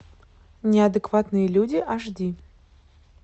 неадекватные люди аш ди